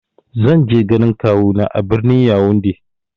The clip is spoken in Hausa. Zan je ganin kawu na a birnin "Younde "